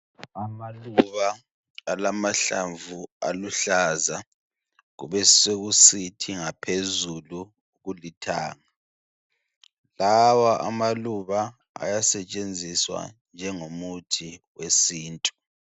Amaluba alamahlamvu aluhlaza. Beswkusithi ngaphezulu kulithanga. Lawa amaluba ayasetshenziswa njengomuthi wesintu.